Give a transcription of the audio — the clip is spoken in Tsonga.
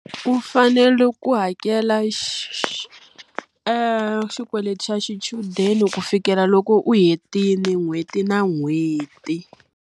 U fanele ku hakela xikweleti xa xichudeni ku fikela loko u hetile n'hweti na n'hweti.